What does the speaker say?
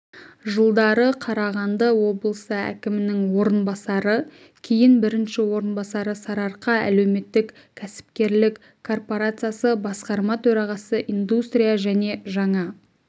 жылдары қарағанды облыысы әкімінің орынбасары кейін бірінші орынбасары сарыарқа әлеуметтік-кәсіпкерлік корпорациясы басқарма төрағасы индустрия және жаңа